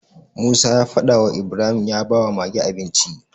Musa ya fada wa Ibrahim ya bawa Mage abinci